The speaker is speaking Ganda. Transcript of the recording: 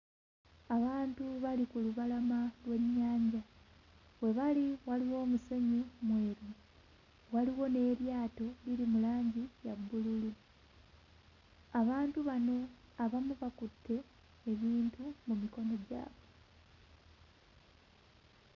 Abantu bali ku lubalama lw'ennyanja, we bali waliwo omusenyu mweru, waliwo n'eryato, liri mu langi ya bbululu. Abantu bano abamu bakutte ebintu mu mikono gyabwe.